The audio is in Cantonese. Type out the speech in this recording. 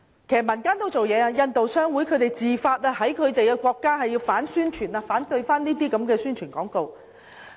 其實，民間也有採取行動，香港印度商會自發在家鄉反宣傳，反對這些宣傳廣告。